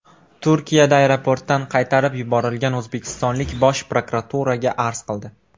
Turkiyada aeroportdan qaytarib yuborilgan o‘zbekistonlik Bosh prokuraturaga arz qildi .